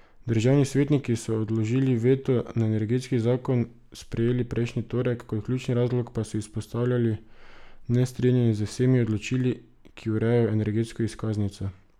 Državni svetniki so odložilni veto na energetski zakon sprejeli prejšnji torek, kot ključni razlog pa so izpostavljali nestrinjanje z vsemi določili, ki urejajo energetsko izkaznico.